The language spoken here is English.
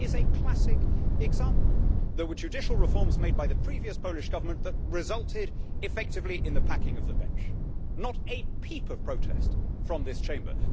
This is a classic example there were judicial reforms made by the previous Polish Government that resulted effectively in the packing of the bench, with not a peep of protest from this Chamber.